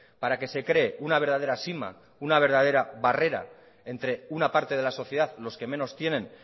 para que se cree una verdadera sima una verdadera barrera entre una parte de la sociedad los que menos tienen